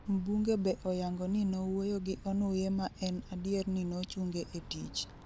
Mbunge be oyango ni nowuoyo gi Onuye ma en adier ni nochunge e tich